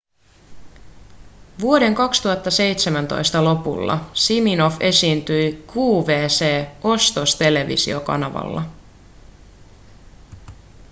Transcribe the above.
vuoden 2017 lopulla siminoff esiintyi qvc-ostostelevisiokanavalla